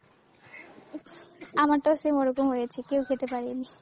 আমারটাও same ওরকম হয়েছে, কেও খেতে পারেনি।